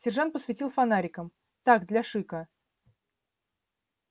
сержант посветил фонариком так для шика